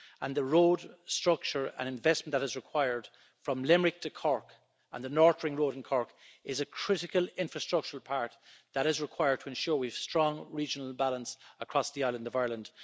and the road structure and investment that is required from Limerick to Cork and the north ring road in Cork is a critical infrastructural part that is required to ensure we have strong regional balance across the island of Ireland.